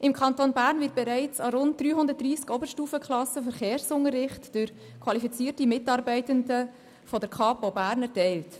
Im Kanton Bern wird bereits in 330 Oberstufenklassen durch qualifizierte Mitarbeitende der Kapo Bern Verkehrsunterricht erteilt.